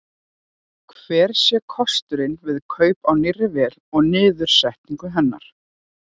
Hver sé kostnaður við kaup á nýrri vél og niðursetningu hennar?